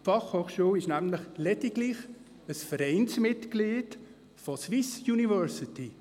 Die BFH ist nämlich lediglich ein Vereinsmitglied von Swissuniversities.